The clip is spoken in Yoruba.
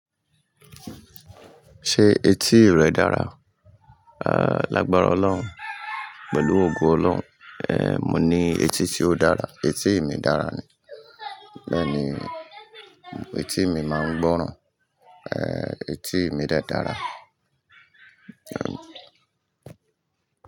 Ṣé etí rẹ dára? À, lágbára Ọlọ́run, pẹ̀lú ògo Ọlọ́run, ẹ, mo ní etí tí ó dára. Etí mi dára ni. Bẹ́ẹ̀ni, etí mi máa ń gbọ́ràn, ẹ, etí mi de dára.